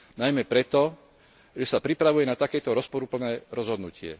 Najmä preto, že sa pripravuje na takéto rozporuplné rozhodnutie.